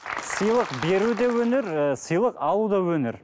сыйлық беру де өнер ыыы сыйлық алу да өнер